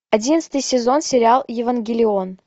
одиннадцатый сезон сериал евангелион